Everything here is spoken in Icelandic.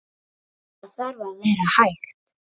Það þarf að vera hægt.